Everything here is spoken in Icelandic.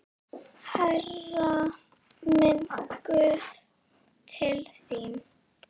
Hærra, minn guð, til þín.